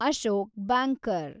Ashok banker